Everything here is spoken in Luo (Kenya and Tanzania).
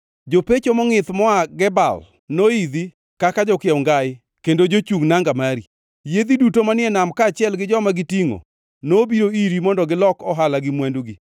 Jopecho mongʼith moa Gebal noidhi kaka jokiew ngai kendo jochung nanga mari. Yiedhi duto manie nam kaachiel gi joma gitingʼo nobiro iri mondo gilok ohala gi mwandugi.